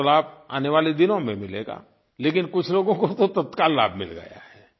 देश को तो लाभ आने वाले दिनों में मिलेगा लेकिन कुछ लोगों को तो तत्काल लाभ मिल गया है